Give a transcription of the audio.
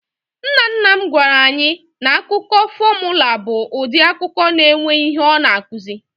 Nnanna m gwara anyị na akụkọ fọmụla bụ ụdị akụkọ na-enwe ihe ọ na-akụzi.